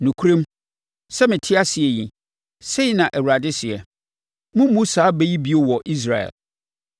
“Nokorɛm, sɛ mete ase yi, sei na Awurade seɛ, moremmu saa bɛ yi bio wɔ Israel.